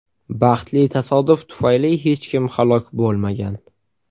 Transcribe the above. Baxtli tasodif tufayli hech kim halok bo‘lmagan.